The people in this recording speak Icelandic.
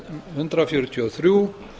hundrað fjörutíu og þrjú